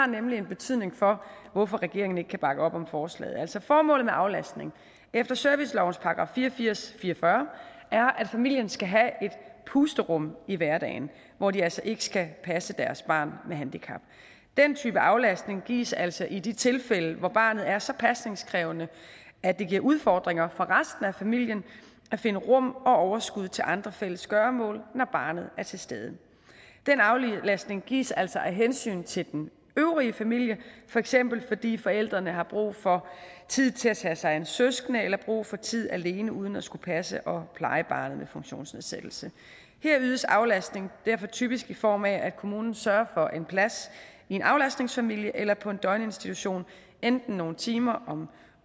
nemlig har betydning for hvorfor regeringen ikke kan bakke op om forslaget altså formålet med aflastning efter servicelovens § fire og firs jævnfør fire og fyrre er at familien skal have et pusterum i hverdagen hvor de altså ikke skal passe deres barn med handicap den type aflastning gives altså i de tilfælde hvor barnet er så pasningskrævende at det giver udfordringer for resten af familien at finde rum og overskud til andre fælles gøremål når barnet er til stede den aflastning gives altså af hensyn til den øvrige familie for eksempel fordi forældrene har brug for tid til at tage sig af en søskende eller brug for tid alene uden at skulle passe og pleje barnet med funktionsnedsættelse her ydes aflastning derfor typisk i form af at kommunen sørger for en plads i en aflastningsfamilie eller på en døgninstitution enten nogle timer om